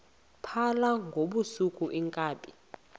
phala ngobusuku iinkabi